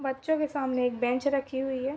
बच्चो के सामने एक बेंच रखी हुई है।